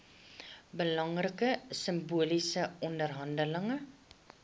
belangrike simboliese oorhandiging